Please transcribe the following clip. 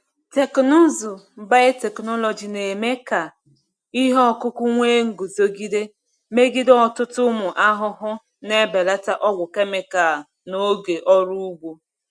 Teknụzụ biotechnology na-eme ka ihe ọkụkụ nwee nguzogide megide ọtụtụ ụmụ ahụhụ, na-ebelata ọgwụ kemikal na ego ọrụ ugbo.